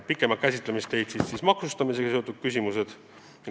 Pikemat käsitlemist leidsid maksustamisega seotud küsimused.